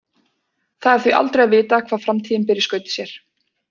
Það er því aldrei að vita hvað framtíðin ber í skauti sér.